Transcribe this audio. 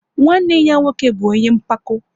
Nwanne ya nwoke bụ ọnye mpako